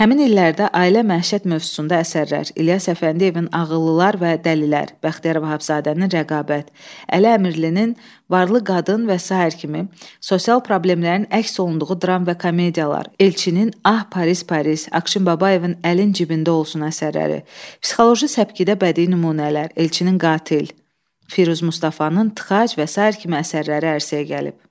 Həmin illərdə ailə məişət mövzusunda əsərlər, İlyas Əfəndiyevin Ağıllılar və Dəlilər, Bəxtiyar Vahabzadənin Rəqabət, Əli Əmirlinin Varlı Qadın və sair kimi sosial problemlərin əks olunduğu dram və komediyalar, Elçinin Ah Paris Paris, Aqşin Babayevin Əlin Cibində Olsun əsərləri, psixoloji səpkidə bədii nümunələr, Elçinin Qatil, Firuz Mustafanın Tıxac və sair kimi əsərləri ərsəyə gəlib.